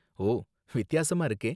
ஓ, வித்தியாசமா இருக்கே!